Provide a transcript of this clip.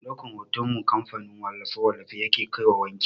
Mai ɗaukan hoton mu kamfanin wallafe-wallafe yake kaiwa wanki.